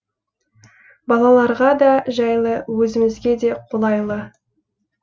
балаларға да жайлы өзімізге де қолайлы